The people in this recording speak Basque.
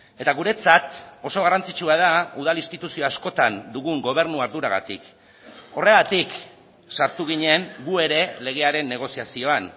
eta guretzat oso garrantzitsua da udal instituzio askotan dugun gobernu arduragatik horregatik sartu ginen gu ere legearen negoziazioan